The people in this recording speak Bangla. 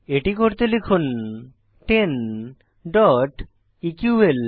এটি করতে লিখুন 10 eql